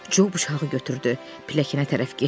Co buşağı götürdü, pilləkənə tərəf getdi.